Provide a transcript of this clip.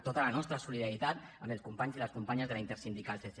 tota la nostra solidaritat amb els companys i les companyes de la intersindical csc